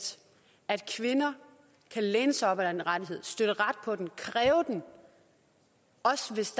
at kvinder kan læne sig op ad den rettighed støtte ret på den kræve den også hvis